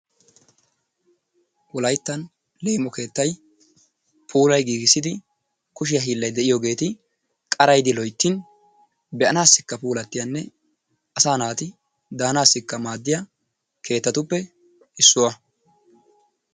Wolayttan leemo keettay puulay giggissidi kushe hiillay de'iyogeeti qarayidi loyttin be'anaassikka puulattiyaanne asaa naati daanaassikka maadiya keettatuppe issuwa.